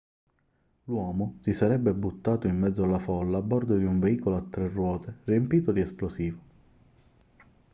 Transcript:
l'uomo si sarebbe buttato in mezzo alla folla a bordo di un veicolo a tre ruote riempito di esplosivo